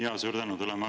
Jaa, suur tänu!